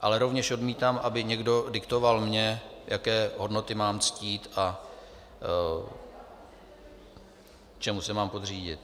Ale rovněž odmítám, aby někdo diktoval mně, jaké hodnoty mám ctít a čemu se mám podřídit.